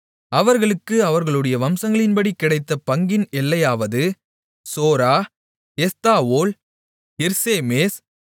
அவர்களுக்கு அவர்களுடைய வம்சங்களின்படி கிடைத்த பங்கின் எல்லையாவது சோரா எஸ்தாவோல் இர்சேமேஸ்